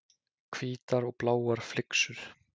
Hvítar og bláar flyksur.